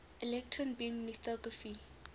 electron beam lithography